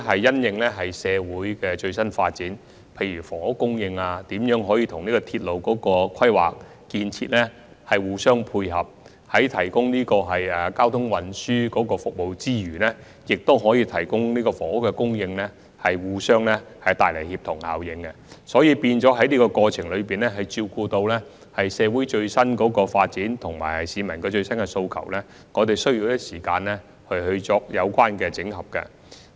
基於社會的最新發展，例如房屋供應、如何使之與鐵路規劃和建設互相配合，在提供交通運輸服務之餘同時作出房屋供應，帶來協同效應，我們需要在這過程中，為照顧社會的最新發展和市民的最新訴求，花一些時間作出相關的整合。